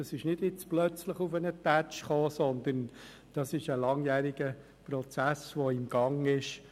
Das ist nicht jetzt plötzlich auf einmal gekommen, sondern es war ein langjähriger Prozess, der im Gang ist.